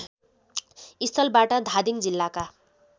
स्थलबाट धादिङ जिल्लाका